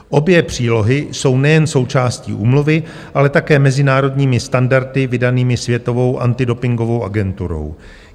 Obě přílohy jsou nejen součástí úmluvy, ale také mezinárodními standardy vydanými Světovou antidopingovou agenturou.